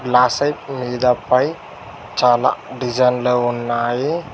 గ్లాసైప్ లా మీద పై చాలా డిజైన్లు ఉన్నాయి.